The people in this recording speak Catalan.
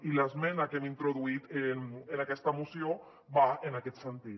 i l’esmena que hem introduït en aquesta moció va en aquest sentit